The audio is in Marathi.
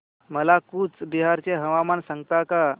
मला कूचबिहार चे हवामान सांगता का